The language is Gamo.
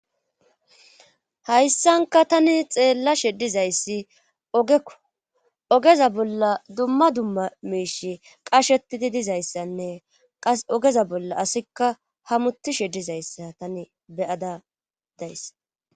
hayssanka tani xeellashe ddizayssi ogekko ogeza bolla dumma dumma miishi qashetidi dizayssanne qas ogeza bolla asikka hamuti sheddizayssa tani beyada dayssa